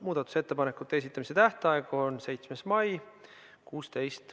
Muudatusettepanekute esitamise tähtaeg on 7. mai kell 16.